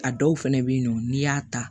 A dɔw fɛnɛ be yen nɔ n'i y'a ta